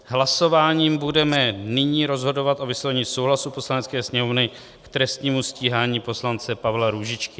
Hlasováním budeme nyní rozhodovat o vyslovení souhlasu Poslanecké sněmovny k trestnímu stíhání poslance Pavla Růžičky.